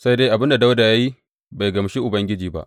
Sai dai abin da Dawuda ya yi bai gamshi Ubangiji ba.